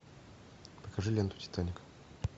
покажи ленту титаник